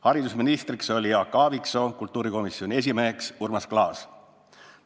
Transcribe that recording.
Haridusministriks oli Jaak Aaviksoo, kultuurikomisjoni esimeheks Urmas Klaas.